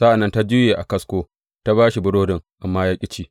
Sa’an nan ta juye a kasko ta ba shi burodin, amma ya ƙi ci.